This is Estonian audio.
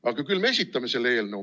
Aga küll me esitame selle eelnõu.